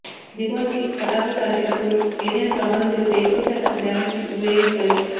దీపావళికి పటాకులు కాల్చేటప్పుడు ఏదైనా ప్రమాదం జరిగితే ఎక్కువ శాతం డ్యామేజ్ కి గురయ్యేది కళ్లే